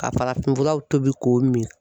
Ka farafinfuraw tobi k'o min.